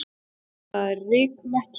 Verða að rykmekki.